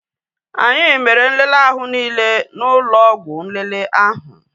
Anyị mere nlele ahụ niile n'ụlọ ọgwụ nlele ahụ